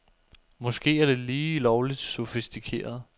Måske er det lige lovligt sofistikeret.